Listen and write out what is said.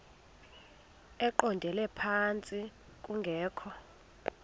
eqondele phantsi kungekho